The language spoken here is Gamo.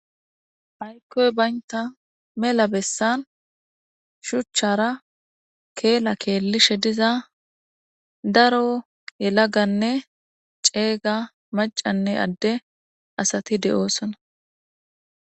Aykkoy baynta mela bessan shuchchara keela keellishe diza daro yelaganne ceega macanne adde asati de7oo sona